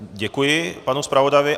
Děkuji panu zpravodajovi.